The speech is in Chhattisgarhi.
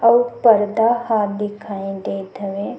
अउ पर्दा ह दिखाई देत हवे।